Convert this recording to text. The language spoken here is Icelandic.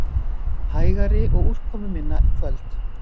Hægari og úrkomuminna í kvöld